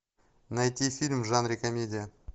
найти фильм в жанре комедия